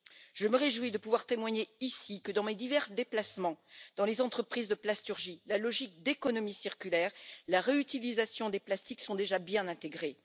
Je me réjouis de pouvoir témoigner, ici, que dans mes divers déplacements dans les entreprises de plasturgie, la logique d'économie circulaire et la réutilisation des plastiques soient déjà bien intégrés.